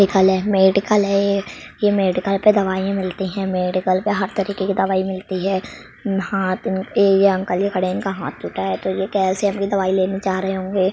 Medical है। ये medical पे दवाईयाँ मिलती है। मेडिकल पे हर तरीके की दवाई मिलती है। हाथ ये अंकल जो खड़े है इनका हाथ टूटा है तो ये कैसे अपनी दवाई लेने जा रहे होंगे।